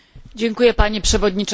Panie Przewodniczący!